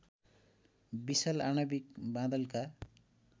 विशाल आणविक बादलका